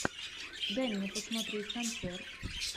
дай мне посмотреть концерт